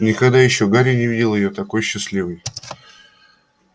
никогда ещё гарри не видел её такой счастливой